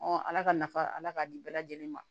ala ka nafa ala k'a di bɛɛ lajɛlen ma